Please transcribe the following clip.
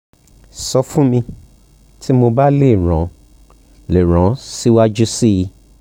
sọ fun mi ti mo ba le ran le ran o siwaju sii